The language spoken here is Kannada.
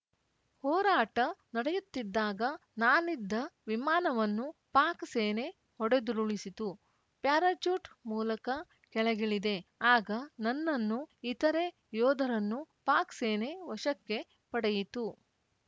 ಹೋರಾಟ ನಡೆಯುತ್ತಿದ್ದಾಗ ನಾನಿದ್ದ ವಿಮಾನವನ್ನು ಪಾಕ್‌ ಸೇನೆ ಹೊಡೆದುರುಳಿಸಿತು ಪ್ಯಾರಚೂಟ್‌ ಮೂಲಕ ಕೆಳಗಿಳಿದೆ ಆಗ ನನ್ನನ್ನೂ ಇತರೆ ಯೋಧರನ್ನೂ ಪಾಕ್‌ ಸೇನೆ ವಶಕ್ಕೆ ಪಡೆಯಿತು